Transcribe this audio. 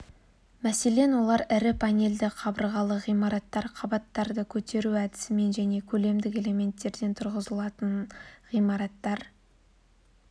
мәселен олар ірі панельді қабырғалы ғимараттар қабаттарды көтеру әдісімен және көлемдік элементтерден тұрғызылған ғимараттар